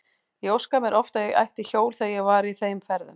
Ég óskaði mér oft að ég ætti hjól þegar ég var í þeim ferðum.